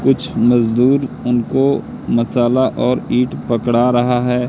कुछ मजदूर उनको मसाला और ईंट पकड़ा रहा हैं।